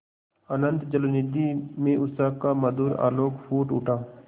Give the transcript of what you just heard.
अनंत जलनिधि में उषा का मधुर आलोक फूट उठा